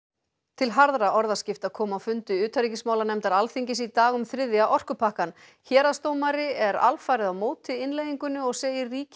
til harðra orðaskipta kom á fundi utanríkismálanefndar Alþingis í dag um þriðja orkupakkann héraðsdómari er alfarið á móti innleiðingunni og segir ríkið